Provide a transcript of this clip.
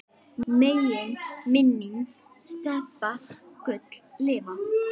Megi minning Stebba Gull lifa.